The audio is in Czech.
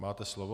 Máte slovo.